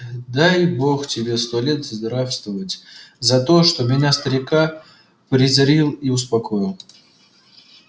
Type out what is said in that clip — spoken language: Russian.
дай бог тебе сто лет здравствовать за то что меня старика призрил и успокоил